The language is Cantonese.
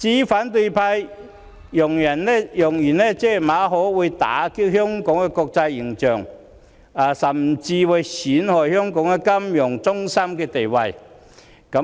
反對派揚言，馬凱事件會打擊香港的國際形象，甚至會損害香港國際金融中心的地位。